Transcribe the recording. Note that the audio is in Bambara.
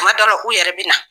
Kuma dɔw la u yɛrɛ bɛ na.